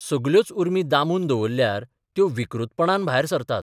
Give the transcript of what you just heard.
सगल्योच उर्मी दामून दवरल्यार त्यो विकृतपणान भायर सरतात.